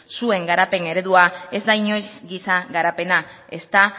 zuen garapen eredua ez da inoiz giza garapena ezta